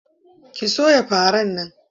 Ki soya faran nan!